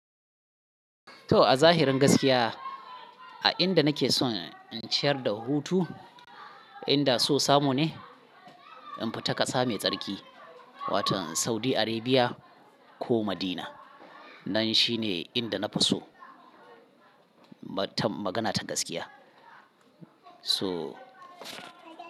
To, a zahirin gaskiya, a inda nake son in ciyar da hutu, inda so samu ne, in fita ƙasa mai tsarki, wato Saudi Arabia ko Madina. Nan shine inda na fi so. Ba ta magana ta gaskiya. So.